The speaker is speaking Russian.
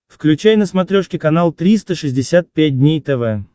включай на смотрешке канал триста шестьдесят пять дней тв